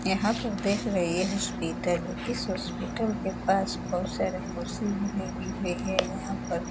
यहाँ पे देख रहे है हॉस्पिटल है। इस हॉस्पिटल के पास बहोत सारे कुर्सी भी । यहाँ पर --